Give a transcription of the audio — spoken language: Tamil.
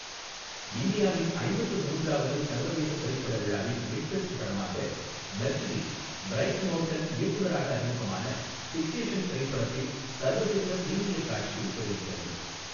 இந்தியாவின் ஐம்பத்து மூன்றாவது சர்வதேச திரைப்பட விழாவின் மிட் பெஃஸ்ட் படமாக, மெர்சிடிஸ் பிரைஸ் மோர்கன் இயக்குனராக அறிமுகமான ஃபிக்சேஷன் திரைப்படத்தின் சர்வதேச பிரிமீயர் காட்சியை திரையிட்டது.